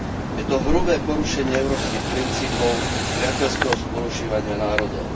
Je to hrubé porušenie európskych princípov priateľského spolunažívania národov.